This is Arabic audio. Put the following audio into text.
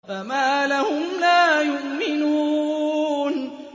فَمَا لَهُمْ لَا يُؤْمِنُونَ